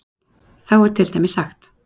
Þá er til dæmis sagt